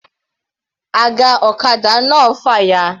Aga ọ̀kadà náà fàya.